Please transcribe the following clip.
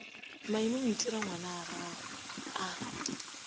maime o ntira ngwanagwe a